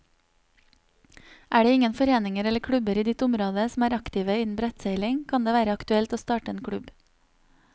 Er det ingen foreninger eller klubber i ditt område som er aktive innen brettseiling, kan det være aktuelt å starte en klubb.